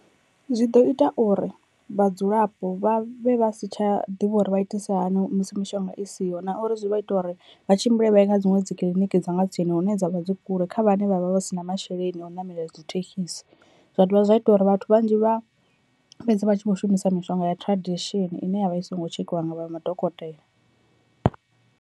Zwi ḓo ita uri vhadzulapo vha vhe vha si tsha ḓivha uri vha itise hani musi mishonga i siho na uri zwi vha ita uri vha tshimbile vha ye kha dziṅwe dzikiḽiniki dza nga tsini hune dzavha dzi kule kha vhane vhavha vha si na masheleni a u namela dzi thekisi, zwa dovha zwa ita uri vhathu vhanzhi vha fhedze vha tshi vho shumisa mishonga ya tradition ine ya vha i songo tshekhiwa nga vha madokotela.